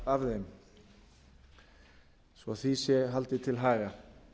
af þeim svo því sé haldið til